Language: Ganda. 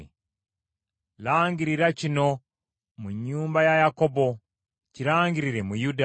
“Langirira kino mu nnyumba ya Yakobo, kirangirire mu Yuda.